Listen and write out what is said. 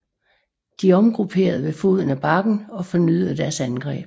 De omgrupperede ved foden af bakken og fornyede deres angreb